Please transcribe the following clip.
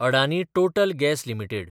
Adani total gas limited